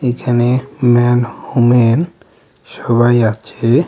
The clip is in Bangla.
এখানে ম্যান হোমেন সবাই আছে.